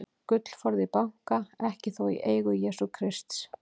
Gullforði í banka, ekki þó í eigu Jesú Krists.